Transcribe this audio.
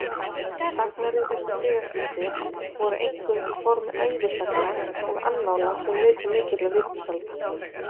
Sagnarit eftir siðaskipti voru einkum í formi ævisagna og annála sem nutu mikilla vinsælda.